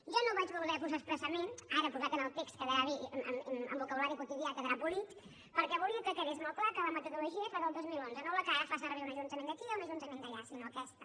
jo no ho vaig voler posar expressament ara posat en el text quedarà bé i amb vocabulari quotidià quedarà polit perquè volia que quedés molt clar que la metodologia era la del dos mil onze no la que ara fa servir un ajuntament d’aquí o un ajuntament d’allà sinó aquesta